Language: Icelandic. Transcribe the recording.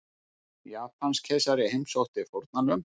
Japanskeisari heimsótti fórnarlömb